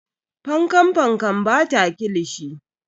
Fankan Fankan bata kilishi.